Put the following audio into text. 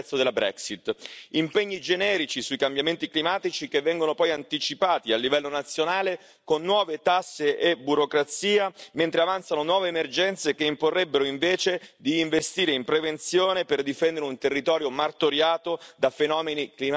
Impegni generici sui cambiamenti climatici, che vengono poi anticipati a livello nazionale con nuove tasse e burocrazia, mentre avanzano nuove emergenze che imporrebbero invece di investire in prevenzione per difendere un territorio martoriato da fenomeni climatici estremi.